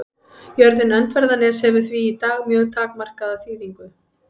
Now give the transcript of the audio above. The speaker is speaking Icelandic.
Jörðin Öndverðarnes hefur því í dag mjög takmarkaða þýðingu.